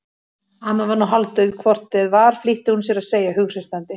Amma var nú hálfdauð hvort eð var flýtti hún sér að segja hughreystandi.